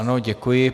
Ano, děkuji.